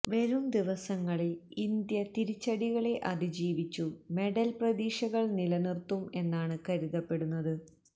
വരും ദിവസങ്ങളില് ഇന്ത്യ തിരിച്ചടികളെ അതിജീവിച്ചു മെഡല് പ്രതീക്ഷകള് നിലനിര്ത്തും എന്നാണ് കരുതപെടുന്നത്